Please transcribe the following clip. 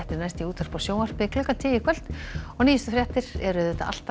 næst í útvarpi og sjónvarpi klukkan tíu í kvöld og nýjustu fréttir eru alltaf